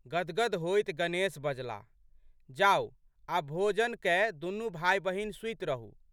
गदगद होइत गणेश बजलाह, जाउ आब भोजन कए दुनू भाइबहिन सूति रहू।